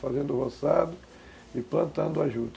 Fazendo roçado e plantando a junta.